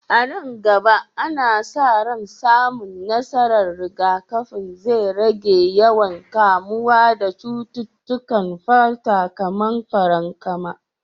A nan gaba, ana sa ran samun nasarar rigakafin zai rage yawan kamuwa da cututtukan fata kamar farankama.